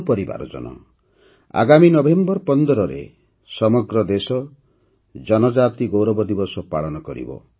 ମୋର ପରିବାରଜନ ଆଗାମୀ ନଭେମ୍ବର ୧୫ରେ ସମଗ୍ର ଦେଶ ଜନଜାତି ଗୌରବ ଦିବସ ପାଳନ କରିବ